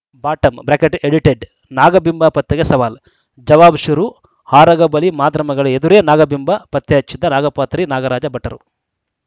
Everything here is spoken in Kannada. ಬಾಟಂ ಬ್ರಾಕೆಟ್ ಎಡಿಟೆಡ್‌ ನಾಗಬಿಂಬ ಪತ್ತೆಗೆ ಸವಾಲ್‌ ಜವಾಬ್‌ ಶುರು ಆರಗ ಬಳಿ ಮಾಧ್ರಮಗಳ ಎದುರೇ ನಾಗಬಿಂಬ ಪತ್ತೆಹಚ್ಚಿದ್ದ ನಾಗಪಾತ್ರಿ ನಾಗರಾಜ ಭಟ್ಟರು